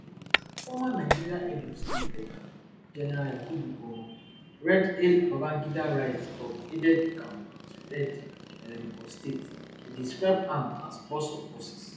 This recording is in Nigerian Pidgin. former nigerian head of state um gen yakubu gowon retd hail babangida rise from aidedecamp to head um of state e describe am as boss of bosses